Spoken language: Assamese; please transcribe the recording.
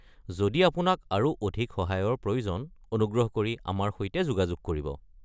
যদি আপোনাক আৰু অধিক সহায়ৰ প্ৰয়োজন, অনুগ্ৰহ কৰি আমাৰ সৈতে যোগাযোগ কৰিব।